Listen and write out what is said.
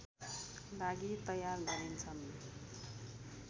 लागि तयार गरिन्छन्